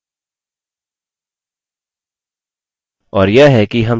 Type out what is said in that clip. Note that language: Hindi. और यह है कि हम relationships कैसे स्थापित कर सकते हैं